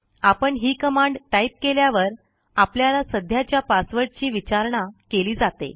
आपण ही command type केल्यावर आपल्याला सध्याच्या पासवर्डची विचारणा केली जाते